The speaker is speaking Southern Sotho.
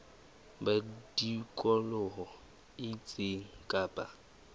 ba tikoloho e itseng kapa